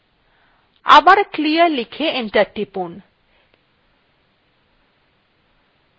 আবার clear লিখে enter টিপুন